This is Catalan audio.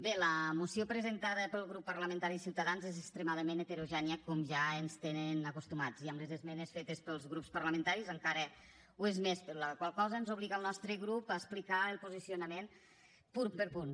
bé la moció presentada pel grup parlamentari de ciutadans és extremadament heterogènia com ja ens tenen acostumats i amb les esmenes fetes pels grups parlamentaris encara ho és més la qual cosa ens obliga al nostre grup a explicar el posicionament punt per punt